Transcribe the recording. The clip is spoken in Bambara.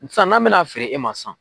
N san n'an bɛna feere e ma san.